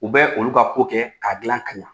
U bɛ olu ka kɛ k'a gilan k'a ɲa